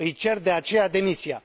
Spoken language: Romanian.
Îi cer, de aceea, demisia.